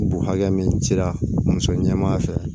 Bu hakɛ min cira muso ɲɛmaa fɛ